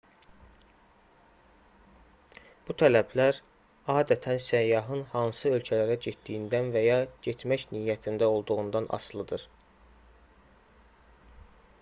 bu tələblər adətən səyyahın hansı ölkələrə getdiyindən və ya getmək niyyətində olduğundan asılıdır